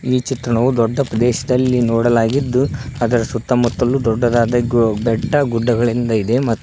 ಈ ಚಿತ್ರಣವು ದೊಡ್ಡ ಪ್ರದೇಶದಲ್ಲಿ ನೋಡಲಾಗಿದ್ದು ಅದರ ಸುತ್ತಮುತ್ತಲು ದೊಡ್ಡದಾದ ಬೆಟ್ಟಗುಡ್ಡಗಳೆಂದಿದೆ ಮತ್ತು--